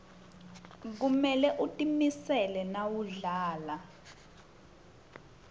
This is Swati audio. kumele utimisele nawudlala